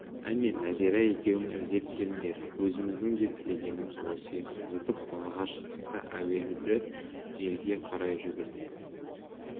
әне нәзира екеуің іздеп келіңдер өзіміздің де тілегеніміз осы еді зытып далаға шықтық та уәделі жерге қарай жүгірдік